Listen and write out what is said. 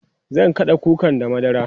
zan kaɗa kukan da madara